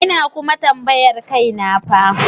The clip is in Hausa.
Ina kuma tambayar kaina fa.